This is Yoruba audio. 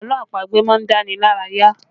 Àlọ́ àpagbè má ń dá ni lára yá